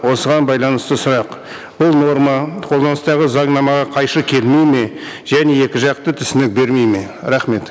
осыған байланысты сұрақ бұл норма қолданыстағы заңнамаға қайшы келмейді ме және екі жақты түсінік бермейді ме